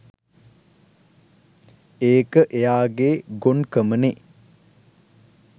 ඒක එයාගේ ගොන්කමනේ